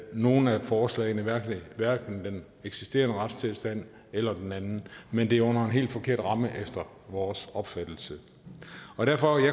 nogen af forslagene hverken den eksisterende retstilstand eller den anden men det er under en helt forkert ramme efter vores opfattelse derfor